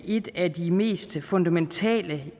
et af de mest fundamentale